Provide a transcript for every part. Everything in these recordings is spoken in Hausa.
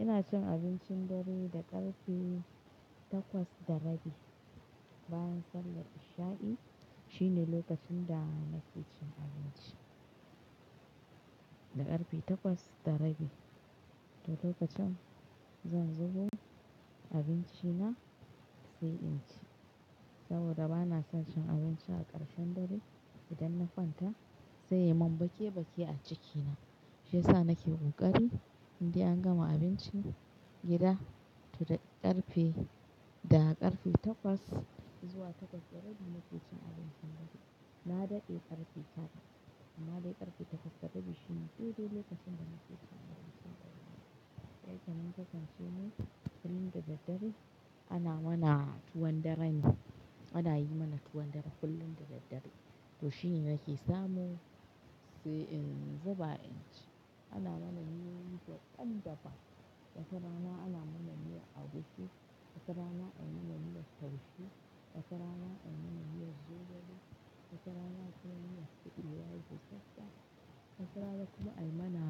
Ina cin abincin dare da ƙarfe takwas da rabi bayan sallar isha'i shine lokacin da na fi cin abinci. Da ƙarfe takwas da rabi to lokacin zan zubo abinci na sai in ci saboda bana son cin abinci a ƙarshen dare idan na kwanta sai ya yi mun bake-bake a ciki na shi yasa nake ƙoƙari indai an gama abincin gida to da ƙarfe, da ƙarfe takwas zuwa takwas da rabi na fi cin abincin dare. Na dade ƙarfe tara amma dai ƙarfe takwas da rabi shine dai dai lokacin da na fi cin abinci. Sai kaman kasance ne kullum da daddare ana mana tuwon daran, ana yi mana tuwon dara kullum da daddare to shine nake samu sai in zuba in ci. Ana mana miyoyi daban daban, wata rana ana mana miyar agushi, wata rana ai mana miyar taushe, wata rana ai mana miyar zogale, wata rana kuma miyar kubewa busassa, wata rana kuma ai mana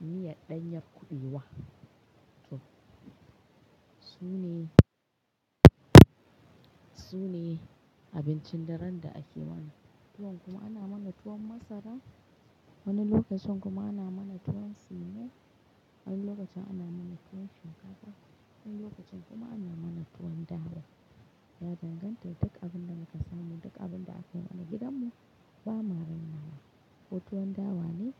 miyar ɗanyar kuɓewa. To su ne, su ne abincin daren da ake mana tuwon kuma ana mana tuwon masara. Wani lokacin kuma ana mana tuwon simo, wani lokacin ana mana tuwon shinkafa, wani lokacin kuma ana mana tuwon dawa. Ya danganta da duk abin da muka samu, duk abin da akai mana gidanmu bama rainawa ko tuwon dawa ne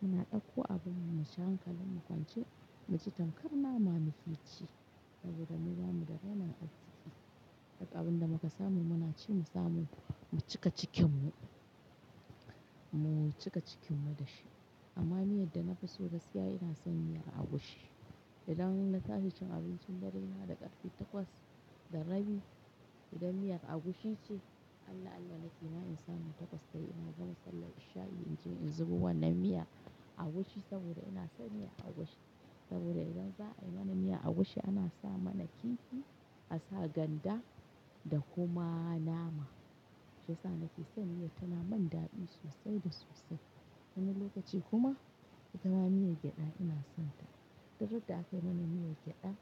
muna ɗauko abin mu mu ci hankalin mu kwance muji tamkar nama muke ci saboda mu ba mu da rainin arziƙi. Duk abin da muka samu muna ci mu samu mu cika cikin mu, mu cika cikin mu da shi amma miyar da na fi so gaskiya ina son miyar agushi. Idan na tashi cin abincin dare na da ƙarfe takwas da rabi idan miyar agushi ce Allah Allah ma nake in samu takwas tayi ina gama sallar isha'i in je in zubo wannan miya agushi saboda ina son miyar agushi saboda idan za a yi mana miyar agushi ana sa mana kifi, a sa ganda da kuma nama shi yasa nake son miyar tana man daɗi sosai da sosai. Wani lokaci kuma itama miyar gyada ina son ta. Duk radda akai mana miyar gyada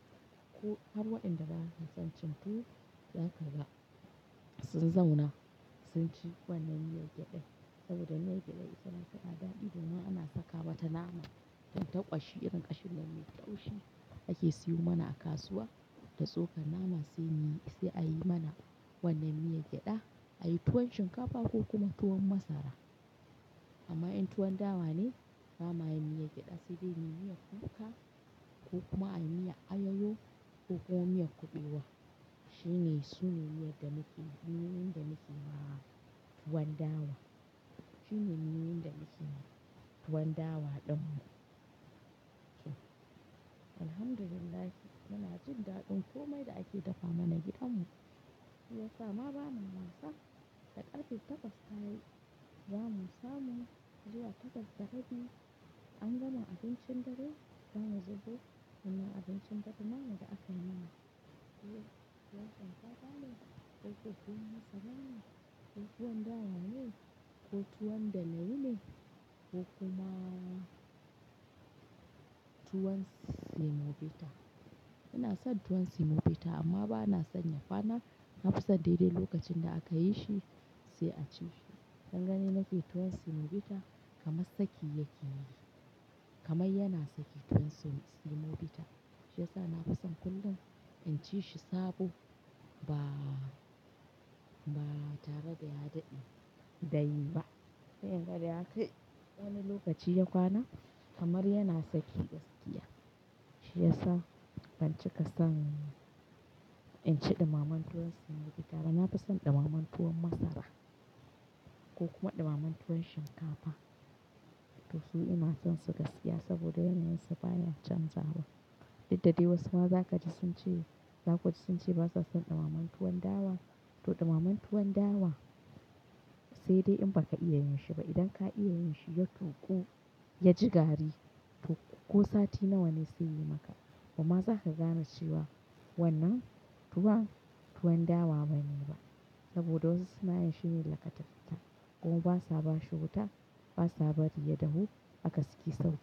ko har waɗanda ba sa son cin tuwo za ka ga sun zauna sun ci wannan miyar gyada saboda miyar gyada itama na daɗi idan ma an saka mata nama tan ta ƙwashi irin ƙashin da mu taushi ake siyo mana a kasuwa da tsokan nama saimu yi sai a yi mana wannan miyar gyada a yi tuwon shinkafa ko kuma tuwon masara. Amma in tuwon dawa ne ba ma yin miyar gyada sai dai muyi miyar kuka ko kuma anyi miyar ayayo ko kuma miyar kuɓewa shine su ne miyar da nake, miyo yin da nake ma tuwon dawa. Shine miyin da nake yima tuwon dawa ɗin mu. To, Alhamdulillah muna jin daɗin komai da ake dafa mana gidanmu. Shiyasa ma ba ma wasa da ƙarfe takwas tayi zamu samu zuwa takwas da rabi an gama abincin dare zamu zubo wannan abincin dadin nama da ake mana ko tuwon kakani ko tuwon masara ne ko tuwon dawa ne ko tuwon dane wune ko kuma tuwon semovita. Inason tuwon semovita amma bana son ya kwana na fi son daidai lokacin da aka yi shi sai a ci shi dan gani nake tuwon semovita kamar saki yake yi kamar yana saki tuwon semovita shi yasa na fi son kullum in ci shi sabo ba, ba tare da ya dade da yi ba. Sai inga da ya kai wani lokaci ya kwana kamar yana saki gaskiya shi yasa ban cika son in ci ɗumamen tuwon semovita ba. Na fi son ɗumamen tuwon masara ko kuma ɗumamen tuwon shinkafa to su ina son su gaskiya saboda yanayinsu baya canzawa. Duk da dai wasu ma za ka ji sun ce, za ku ji sun ce basa son ɗumamen tuwon dawa to ɗumamen tuwon dawa sai dai in ba ka iya yin shi ba idan ka iya yin shi ya tuƙu ya ji gari to ko sati nawa ne sai yayi maka bama za ka gane cewa wannan tuwon, tuwon dawa bane saboda wasu suna yin shi ne lakatafita kuma basa ba shi wuta basa bari ya dahu haka suke saukewa.